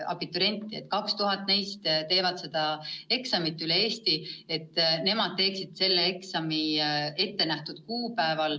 Abituriente on meil 7000, 2000 neist teevad seda eksamit.